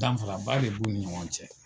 Danfara ba de b'u ni ɲɔgɔn cɛ.